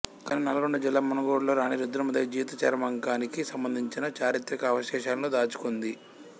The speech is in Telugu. కానీ నల్లగొండ జిల్లా మునుగోడులో రాణీ రుద్రమాదేవి జీవిత చరమాంకానికి సంబంధించిన చారిత్రక అవశేషాలను దాచుకొంది